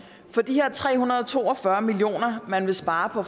for de her tre hundrede og to og fyrre million kr man vil spare på